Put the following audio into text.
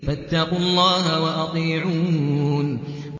فَاتَّقُوا اللَّهَ وَأَطِيعُونِ